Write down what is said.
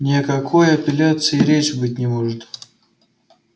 ни о какой апелляции и речи быть не может